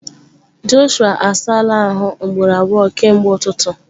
Jọshụa asala ahụ ugboro abụọ kemgbe ụtụtụ.